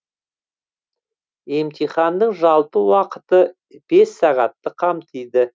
емтиханның жалпы уақыты бес сағатты қамтиды